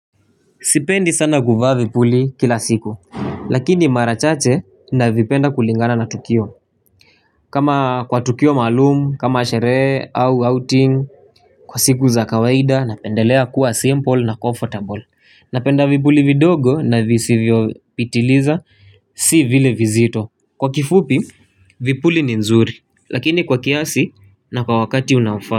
Sipendi sana kuvaa vipuli kila siku. Lakini marachache na vipenda kulingana na tukio. Kama kwa tukio maalumu, kama sherehe au outing. Kwa siku za kawaida napendelea kuwa simple na comfortable. Napenda vipuli vidogo na visi vyo pitiliza si vile vizito. Kwa kifupi vipuli ni nzuri. Lakini kwa kiasi na kwa wakati unaofaa.